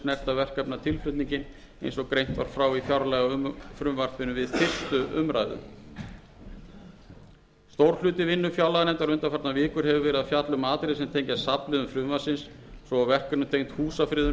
snerta verkefnatilflutninginn eins og greint var frá í fjárlagafrumvarpinu við fyrstu umræðu stór hluti vinnu fjárlaganefndar undanfarnar vikur hefur verið að fjalla um atriði er tengjast safnliðum frumvarpsins svo og verkefnum tengd húsafriðun